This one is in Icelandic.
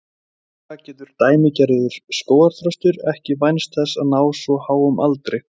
sennilega getur „dæmigerður“ skógarþröstur ekki vænst þess að ná svo háum aldri